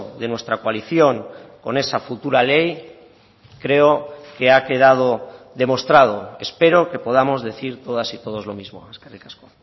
de nuestra coalición con esa futura ley creo que ha quedado demostrado espero que podamos decir todas y todos lo mismo eskerrik asko